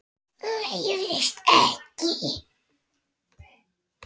Leiðist ekki.